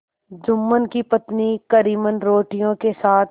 जुम्मन की पत्नी करीमन रोटियों के साथ